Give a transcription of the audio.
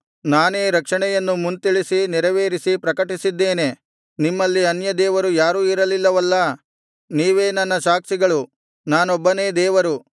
ನಾನೇ ರಕ್ಷಣೆಯನ್ನು ಮುಂತಿಳಿಸಿ ನೆರವೇರಿಸಿ ಪ್ರಕಟಿಸಿದ್ದೇನೆ ನಿಮ್ಮಲ್ಲಿ ಅನ್ಯದೇವರು ಯಾರೂ ಇರಲಿಲ್ಲವಲ್ಲ ನೀವೇ ನನ್ನ ಸಾಕ್ಷಿಗಳು ನಾನೊಬ್ಬನೇ ದೇವರು